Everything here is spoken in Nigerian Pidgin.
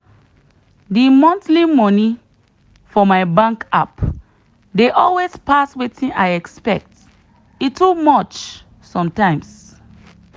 the monthly money for my bank app dey always pass wetin i expect e too much sometimes.